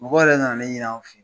Mɔgɔ yɛrɛ nana ne ɲini anw fɛ